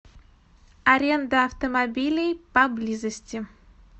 аренда автомобилей поблизости